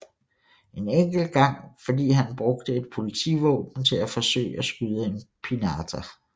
En enkelt gang fordi han brugte et politivåben til at forsøge at skyde en pinata